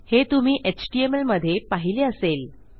हे तुम्ही htmlमधे पाहिले असेल